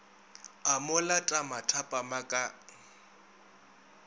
a mo lata mathapama ka